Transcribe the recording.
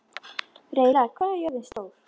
Reyla, hvað er jörðin stór?